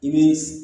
I bi